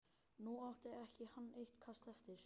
Nú átti hann eitt kast eftir.